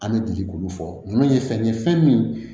An bɛ bi k'olu fɔ nunnu ye fɛn ye fɛn min